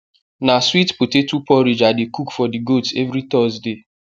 na sweet potato porridge i dey cook for the goats every thursday